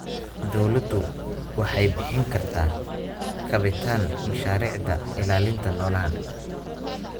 Dawladdu waxay bixin kartaa kabitaan mashaariicda ilaalinta noolaha.